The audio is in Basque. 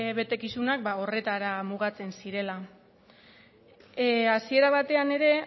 betekizunak horretara mugatzen zirela hasiera batean ere